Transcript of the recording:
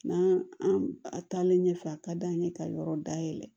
N'an an taalen ɲɛfɛ a ka d'an ye ka yɔrɔ dayɛlɛ